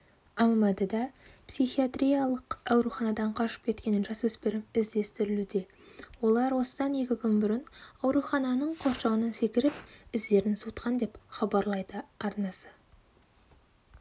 алматыда психиатриялық ауруханадан қашып кеткен жасөспірім іздестірілуде олар осыдан екі күн бұрын аурухананың қоршауынан секіріп іздерін суытқан деп хабарлайды арнасы